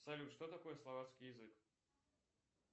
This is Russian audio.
салют что такое словацкий язык